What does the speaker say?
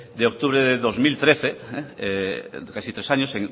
de octubre del dos mil trece casi tres años